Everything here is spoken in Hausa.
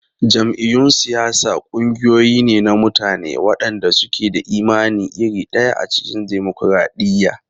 Jam'iyyun siyasa ƙungiyoyi ne na mutane waɗanda suke da imani iri ɗaya a cikin dimokuradiyya.